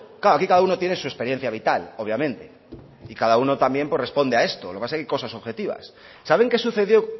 claro aquí cada uno tiene su experiencia vital obviamente y cada uno también pues responde a esto lo que pasa es que hay cosas objetivas saben qué sucedió